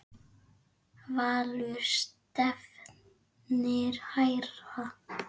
Valur stefnir hærra.